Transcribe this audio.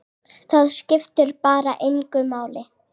Það skiptir bara engu máli.